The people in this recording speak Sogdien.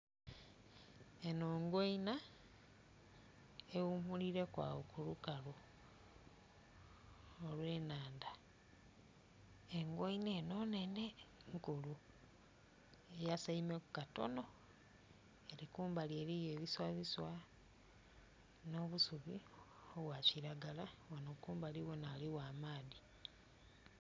Enho ngoina, eghumulireku awo ku lukalu olw'enhandha, engoina enho nhenhe, nkulu. Eyasaimeku katono ere kumbali eriyo ebiswabiswa n'obusubi obwa kiragala, ghanho kumbali ghona ghaligho amaadhi.